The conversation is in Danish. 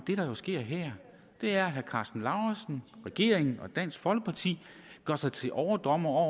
det der jo sker her er at herre karsten lauritzen regeringen og dansk folkeparti gør sig til overdommere